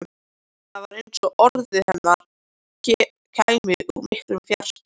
Það var eins og orð hennar kæmu úr miklum fjarska.